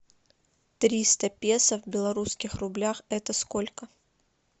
триста песо в белорусских рублях это сколько